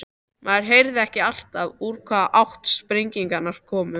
Maður heyrði ekki alltaf úr hvaða átt sprengingarnar komu.